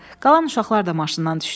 Qalan uşaqlar da maşından düşdülər.